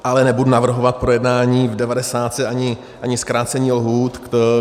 Ale nebudu navrhovat projednání v devadesátce ani zkrácení lhůt.